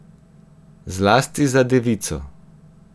Zlasti za devico.